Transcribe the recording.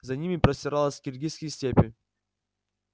за ними простиралась киргизские степи